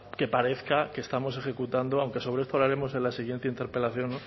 que parezca que estamos ejecutando aunque sobre esto hablaremos en la siguiente interpelación